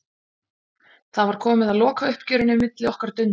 Það var komið að lokauppgjörinu milli okkar Dunda.